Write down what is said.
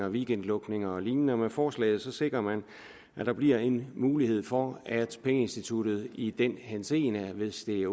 weekendlukninger og lignende med forslaget sikrer man at der bliver en mulighed for at pengeinstituttet i den henseende at hvis det er